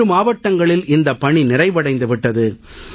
7 மாவட்டங்களில் இந்தப் பணி நிறைவடைந்து விட்டது